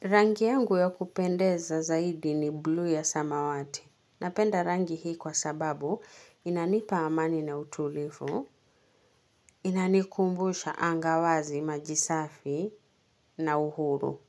Rangi yangu ya kupendeza zaidi ni bluu ya samawati. Napenda rangi hii kwa sababu inanipa amani na utulivu, inanikumbusha anga wazi maji safi na uhuru.